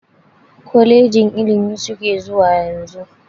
Kolejin ilimi suke zuwa yanzu.